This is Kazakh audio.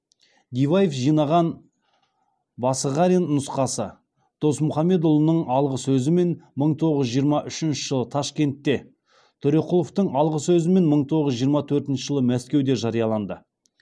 диваев жинаған басығарин нұсқасы досмұхамедұлының алғы сөзімен мың тоғыз жүз жиырма үшінші жылы ташкентте төреқұловтың алғы сөзімен мың тоғыз жүз жиырма төртінші жылы мәскеуде жарияланды